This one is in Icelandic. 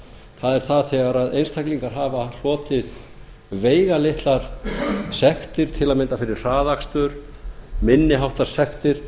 það er það þegar einstaklingar hafa hlotið veigalitlar sektir til að mynda fyrir hraðakstur minni háttar sektir